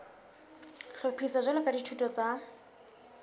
hlophiswa jwalo ka dithuto tsa